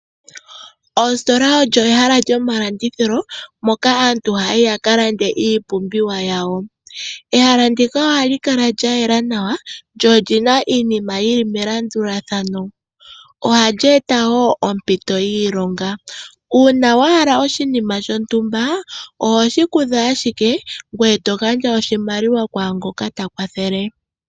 Ositola olyo ehela lyomalandithilo moka aantu haya yi yaka lande iipumbiwa yawo. Ehala ndika ohali kala lya yela nawa, lyo olyina iinima yili melandulathano. Ohali eta wo ompito yiilonga. Uuna wa hala oshinima shontumba, oho shi kutha ashike ngoye to gandja oshimaliwa kwaangoka ta kwathele.